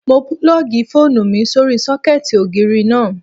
Mo púlọ̀gì fóònù mi sórí sọ́kẹ̀tì ògiri náà